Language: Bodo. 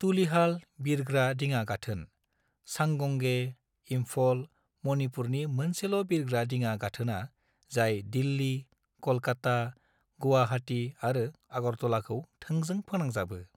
तुलिहाल बिरग्रा दिङा गाथोन, चांगंगेई, इंफल, मणिपुरनि मोनसेल' बिरग्रा दिङा गाथोनआ जाय दिल्ली, क'लकाता, गुवाहाटी आरो आगरतलाखौ थोंजों फोनांजाबो।